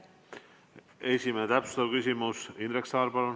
Esimene täpsustav küsimus, Indrek Saar, palun!